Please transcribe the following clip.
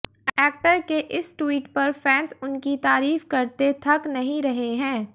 actor के इस tweet पर फैंस उनकी तारीफ करते थक नहीं रहे हैं